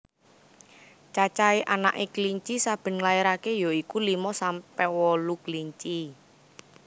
Cacahé anaké kelinci saben nglairaké ya iku limo sampe wolu kelinci